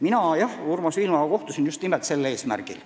Mina kohtusin Urmas Viilmaga just nimelt sellel eesmärgil.